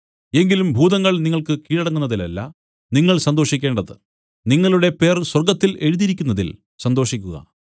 എങ്കിലും ഭൂതങ്ങൾ നിങ്ങൾക്ക് കീഴടങ്ങുന്നതിലല്ല നിങ്ങൾ സന്തോഷിക്കേണ്ടത് നിങ്ങളുടെ പേർ സ്വർഗ്ഗത്തിൽ എഴുതിയിരിക്കുന്നതിൽ സന്തോഷിക്കുക